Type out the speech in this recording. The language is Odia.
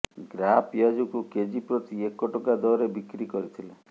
ଗ୍ରା ପିଆଜକୁ କେଜି ପ୍ରତି ଏକ ଟଙ୍କା ଦରରେ ବିକ୍ରି କରିଥିଲେ